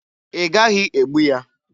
Ị gaghị egbu ya!